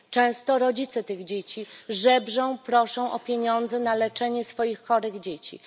Często rodzice tych dzieci żebrzą, proszą o pieniądze na leczenie swoich chorych dzieci.